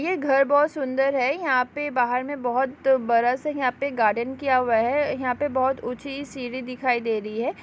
ये घर बहौत सुन्दर है यहाँ पे बहार में बहौत बड़ा सा यहाँ पे गार्डन किया हुआ है यहाँ पे बहौत ऊँची सीडी दिखाई दे रही है।